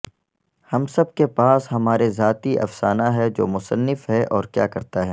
ہم سب کے پاس ہمارے ذاتی افسانہ ہے جو مصنف ہے اور کیا کرتا ہے